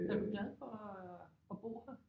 Er du glad for at at bo her?